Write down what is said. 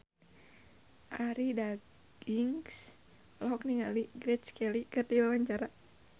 Arie Daginks olohok ningali Grace Kelly keur diwawancara